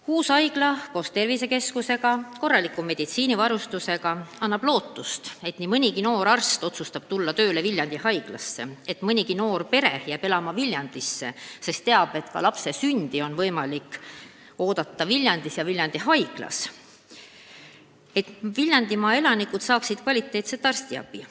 Uus haigla koos tervisekeskusega, korraliku meditsiinivarustusega annab lootust, et nii mõnigi noor arst otsustab tulla tööle Viljandisse, et mõnigi noor pere jääb elama Viljandisse, sest teab, et ka lapse sündi on võimalik oodata Viljandis ja tuua ta ilmale kohalikus haiglas, et Viljandimaa elanikud saavad kvaliteetset arstiabi.